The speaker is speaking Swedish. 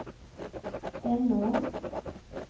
Henån